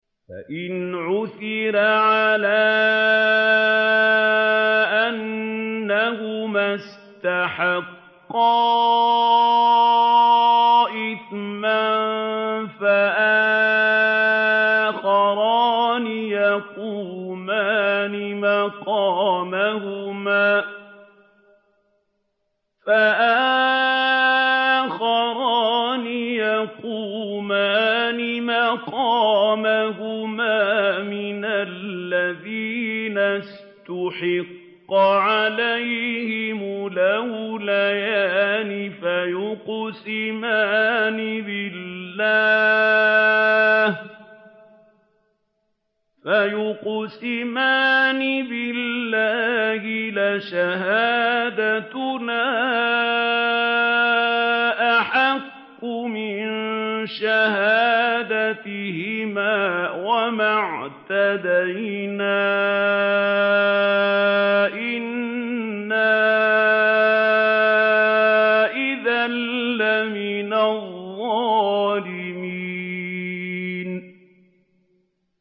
فَإِنْ عُثِرَ عَلَىٰ أَنَّهُمَا اسْتَحَقَّا إِثْمًا فَآخَرَانِ يَقُومَانِ مَقَامَهُمَا مِنَ الَّذِينَ اسْتَحَقَّ عَلَيْهِمُ الْأَوْلَيَانِ فَيُقْسِمَانِ بِاللَّهِ لَشَهَادَتُنَا أَحَقُّ مِن شَهَادَتِهِمَا وَمَا اعْتَدَيْنَا إِنَّا إِذًا لَّمِنَ الظَّالِمِينَ